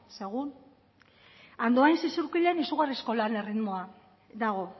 segun andoian zizurkilen izugarrizko lan erritmoa dago